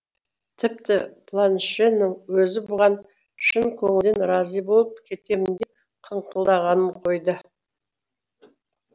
тіпті планшенің өзі бұған шын көңілден разы болып кетемін деп қыңқылдағанын қойды